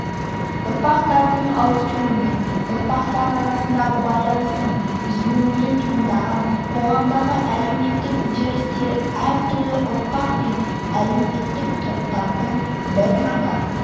ұрпақтардың ауысуымен ұрпақтар арасындағы байланыстың үзілуінен туындаған қоғамдағы әлеуметтік үдерістер әртүрлі ұрпақ пен әлеуметтік топтардың бір ғана